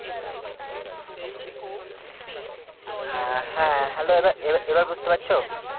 অ্যাঁ হ্যাঁ hello দাদা এ~ এবার বুঝতে পারছো